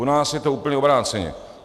U nás je to úplně obráceně.